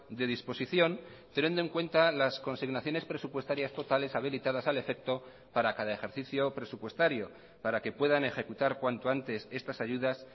de disposición teniendo en cuenta las consignaciones presupuestarias totales habilitadas al efecto para cada ejercicio presupuestario para que puedan ejecutar cuanto antes estas ayudas